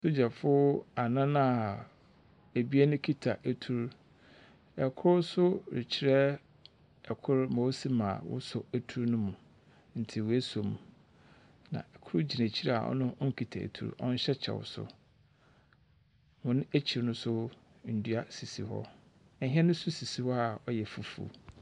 Asogyafo anan a ebien kita etu. Kor nso rekyerɛ kor ma osi ma wɔsɔ etu no mu, nti woesom, na kor gyina ekyir a ɔno ɔnnkita etu, ɔnhyɛ kyɛw nso. Hɔn ekyir no nso, ndua sisi hɔ. Hɛn nso sisi hɔ a ɔyɛ fufuo.